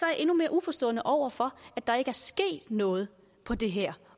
jeg endnu mere uforstående over for at der ikke er sket noget på det her